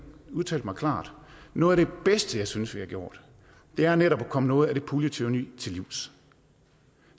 udtalt mig klart noget af det bedste jeg synes vi har gjort er netop at komme noget af det puljetyranni til livs